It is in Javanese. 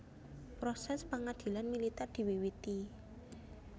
Prosès pangadilan militèr diwiwiti